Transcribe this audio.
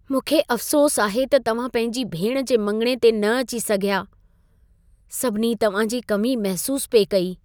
मूंखे अफ़सोसु आहे त तव्हां पंहिंजी भेण जे मङणे ते न अची सघिया। सभिनी तव्हां जी कमी महसूसु पिए कई।